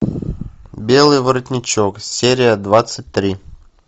белый воротничок серия двадцать три